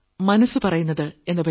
മനസ്സ് പറയുന്നത് 2